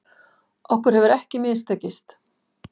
Okkur hefur ekki mistekist